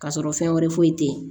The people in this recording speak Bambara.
Ka sɔrɔ fɛn wɛrɛ foyi te yen